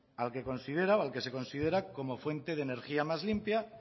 al que considera o al que se considera como fuente de energía más limpia